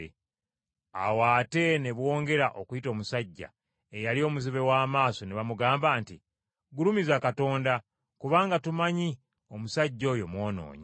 Awo ate ne bongera okuyita omusajja eyali omuzibe w’amaaso ne bamugamba nti, “Gulumiza Katonda, kubanga tumanyi omusajja oyo mwonoonyi.”